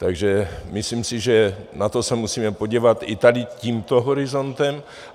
Takže myslím si, že na to se musíme podívat i tady tímto horizontem.